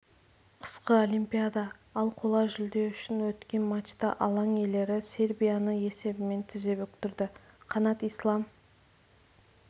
қысқы олимпиада ал қола жүлде үшін өткен матчта алаң иелері сербияны есебімен тізе бүктірді қанат ислам